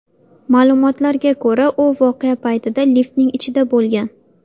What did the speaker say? Ma’lumotlarga ko‘ra, u voqea paytida liftning ichida bo‘lgan.